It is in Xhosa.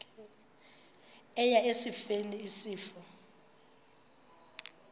eya esifeni isifo